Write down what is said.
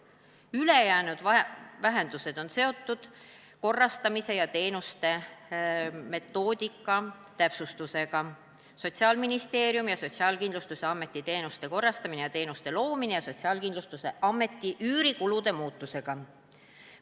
Ülejäänud vähendused on seotud tegevuspõhise eelarve metoodika täpsustamisega ja Sotsiaalkindlustusameti üürikulude muudatusega.